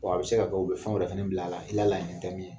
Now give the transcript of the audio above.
a be se ka u bi fɛnw wɛrɛ fɛnɛ bila a la i ka laɲini tɛ min ye.